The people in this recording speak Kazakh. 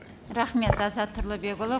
рахмет азат тұрлыбекұлы